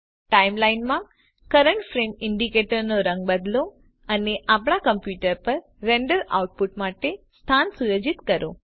time line માં current frame indicator નો રંગ બદલો અને આપણા કોમ્પ્યુટર પર રેન્ડર આઉટ પુટ માટે સ્થાન સુયોજિત કરો